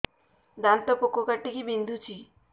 ଦାନ୍ତ ପୋକ କାଟିକି ବିନ୍ଧୁଛି